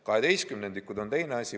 Kaheteistkümnendikud on teine asi.